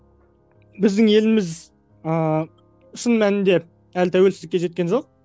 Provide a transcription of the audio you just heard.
біздің еліміз ыыы шын мәнінде әлі тәуелсіздікке жеткен жоқ